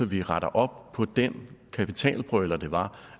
vi retter op på den kapitalbrøler det var